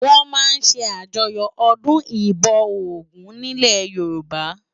Wòn má n sé àjòyò òdún ibò ógùn nilè Yoruba